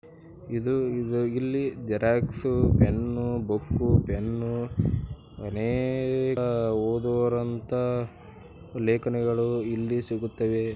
ಇದು ಇಲ್ಲಿ Xerox pen book pen ಅನೇಕ ಓದುವಂತಹ ಲೇಖನಗಳು ಇಲ್ಲಿ ಸಿಗುತ್ತವೆ.